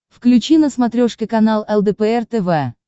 включи на смотрешке канал лдпр тв